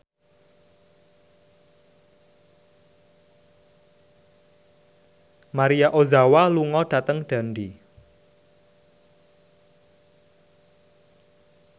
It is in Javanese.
Maria Ozawa lunga dhateng Dundee